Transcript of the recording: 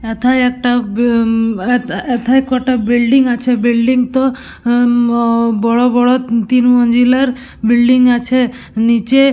এথায় একটা বি হুম এ এথায় কটা বিল্ডিং আছে বিল্ডিং -তো হুম অ বড় বড় তিন মঞ্জিলার বিল্ডিং আছে নিচে--